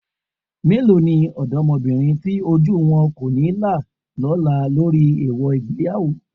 Mélòó ni ọ̀dọ́mọbìnrin tí ojú wọn kò ní là lọ́la lórí èèwọ̀ ìgbéyàwó?